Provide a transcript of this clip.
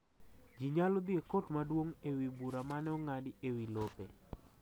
Ji nyalo dhi e kot maduong’ e wi bura mane ong'adi e wi lope